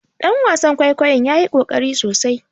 Dan wasan kwaikwayon ya yi kokari sosai